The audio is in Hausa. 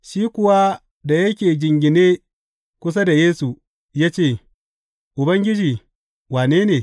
Shi kuwa da yake jingine kusa da Yesu, ya ce, Ubangiji, wane ne?